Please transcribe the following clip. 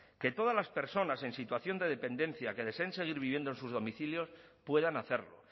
que todas las personas en situación de dependencia que deseen seguir viviendo en sus domicilios puedan hacerlo